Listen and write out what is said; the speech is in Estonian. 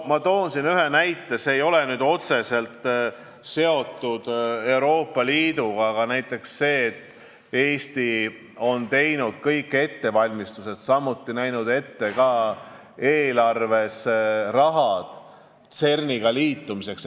Toon ühe näite, mis ei ole otseselt seotud Euroopa Liiduga: Eesti on teinud kõik vajalikud ettevalmistused ja näinud ka eelarves ette raha CERN-iga liitumiseks.